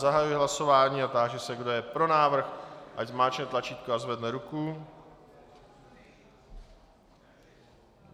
Zahajuji hlasování a táži se, kdo je pro návrh, ať zmáčkne tlačítko a zvedne ruku.